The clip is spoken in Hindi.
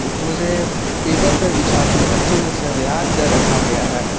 पूरे पेपर पर बिछा के अच्छे से सहयारकर रखा गया है।